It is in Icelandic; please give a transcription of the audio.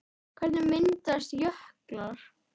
Hvernig myndast jöklar?